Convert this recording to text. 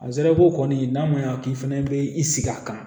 A zara ko kɔni n'a ma ɲa k'i fɛnɛ bɛ i sigi a kan